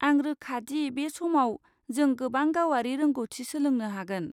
आं रोखा दि बे समाव जों गोबां गावारि रोंग'थि सोलोंनो हागोन।